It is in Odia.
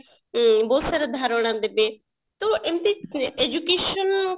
ଉଁ ବହୁତ ସାରା ଧାରଣା ଦେବେ ହେଲେ ଏମତି education